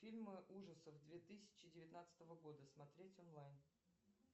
фильмы ужасов две тысячи девятнадцатого года смотреть онлайн